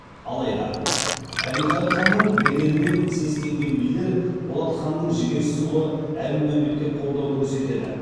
алайда әбілқайыр ханның беделінен сескенген билер болат ханның жігерсіз ұлы әбілмәмбетке қолдау көрсетеді